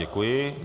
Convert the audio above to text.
Děkuji.